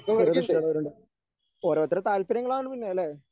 ചെറുത് ഇഷ്ടമുള്ളവരുണ്ട് ഓരോരുത്തരുടെ താൽപര്യങ്ങളാണ് പിന്നെ അല്ലേ?